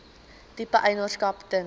tipe eienaarskap ten